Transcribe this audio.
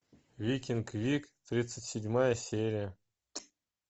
викинг вик тридцать седьмая серия